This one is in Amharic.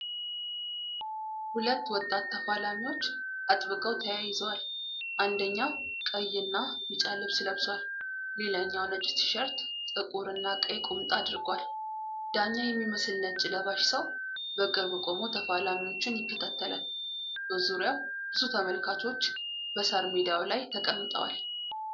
ሁለት ወጣት ተፋላሚዎች አጥብቀው ተያይዘዋል። አንደኛው ቀይና ቢጫ ልብስ ለብሷል፤ ሌላኛው ነጭ ቲሸርት፣ ጥቁርና ቀይ ቁምጣ አድርጓል። ዳኛ የሚመስል ነጭ ለባሽ ሰው በቅርብ ቆሞ ተፋላሚዎቹን ይከታተላል። በዙሪያው ብዙ ተመልካቾች በሳር ሜዳው ላይ ተቀምጠዋል።